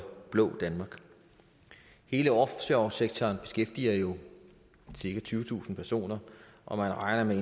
blå danmark hele offshoresektoren beskæftiger jo cirka tyvetusind personer og man regner med